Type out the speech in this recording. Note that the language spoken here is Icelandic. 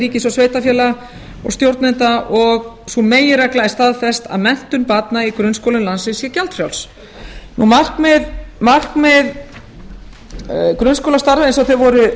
ríkis og sveitarfélaga og stjórnenda og sú meginregla er staðfest að menntun barna í grunnskólum landsins sé gjaldfrjáls markmið grunnskólastarfa eins og þau voru